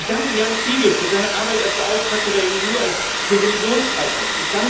Ich danke Ján Figeľ für seine Arbeit als Beauftragter der EU für Religionsfreiheit.